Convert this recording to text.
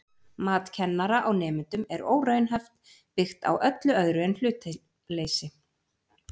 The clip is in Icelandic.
Mat kennara á nemendum er óraunhæft, byggt á öllu öðru en hlutleysi.